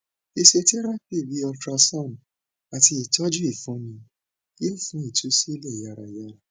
physiotherapy bi ultrasound ati itọju ifunni yoo fun itusilẹ yarayara